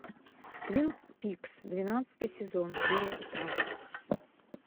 твин пикс двенадцатый сезон серия пятнадцать